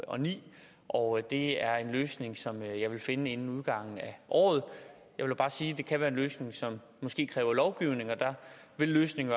og ni og det er en løsning som jeg vil finde inden udgangen af året jeg vil bare sige at det kan være en løsning som måske kræver lovgivning og der vil løsningen